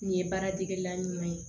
Nin ye baaradegela ɲuman ye